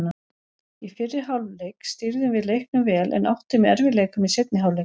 Í fyrri hálfleik stýrðum við leiknum vel en áttum í erfiðleikum í seinni hálfleik.